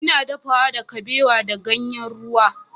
Ina dafawa da kabewa da ganyen ruwa.